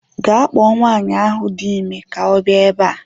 Gaa kpọọ nwaanyị ahu dị ime ka ọ bịa ebe a